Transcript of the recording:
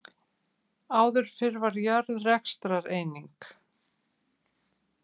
Áður fyrr var jörð rekstrareining.